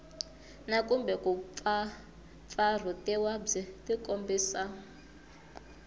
na kumbe kumpfampfarhutiwa byi tikombisa